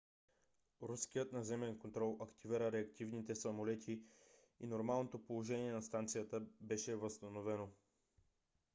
руският наземен контрол активира реактивните самолети и нормалното положение на станцията беше възстановено